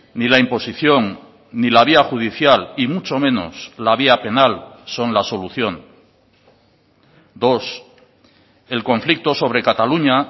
ni la imposición ni la vía judicial y mucho menos la vía penal son la solución dos el conflicto sobre cataluña